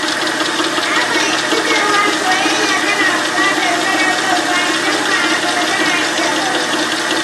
Na fahimci cewa soyayya tana buƙatar sadaukarwa, idan ba haka ba, tana iya rauni.